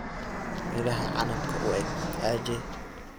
midhaha canabka u eg aje